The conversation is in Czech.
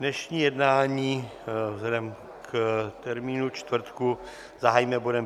Dnešní jednání, vzhledem k termínu čtvrtka, zahájíme bodem